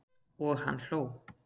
Og hann hló.